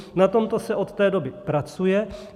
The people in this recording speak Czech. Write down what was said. Na tomto se od té doby pracuje.